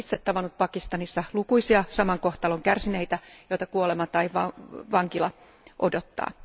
Olen itse tavannut Pakistanissa lukuisia saman kohtalon kärsineitä, joita kuolema tai vankila odottaa.